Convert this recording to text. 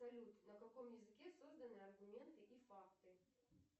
салют на каком языке созданы аргументы и факты